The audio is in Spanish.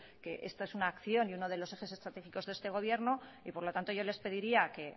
que esto es una acción y uno de los ejes estratégicos de este gobierno y por lo tanto yo les pediría que